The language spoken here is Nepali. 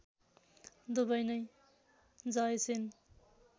दुबै नै जयसेन